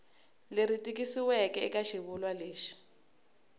leri tikisiweke eka xivulwa lexi